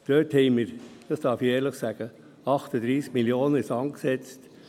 Dort haben wir, das darf ich ehrlich sagen, 38 Mio. Franken in den Sand gesetzt.